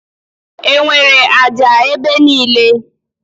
Enwere ájá ebe niile.